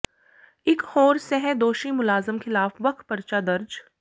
ਇੱਕ ਹੋਰ ਸਹਿ ਦੋਸ਼ੀ ਮੁਲਾਜ਼ਮ ਖਿਲਾਫ ਵੱਖ ਪਰਚਾ ਦਰਜ